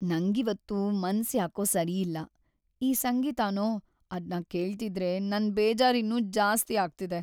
ನಂಗಿವತ್ತು ಮನ್ಸ್‌ ಯಾಕೋ ಸರಿಯಿಲ್ಲ.. ಈ ಸಂಗೀತನೋ.. ಅದ್ನ ಕೇಳ್ತಿದ್ರೆ ನನ್ ಬೇಜಾರಿನ್ನೂ ಜಾಸ್ತಿ ಆಗ್ತಿದೆ.